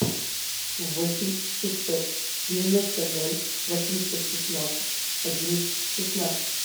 восемь шестьсот девяносто ноль восемьсот шестнадцать одиннадцать шестнадцать